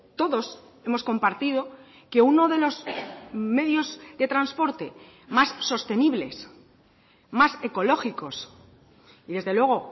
todos hemos compartido que uno de los medios de transporte más sostenibles más ecológicos y desde luego